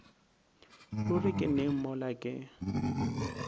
ruri ke neng mola ke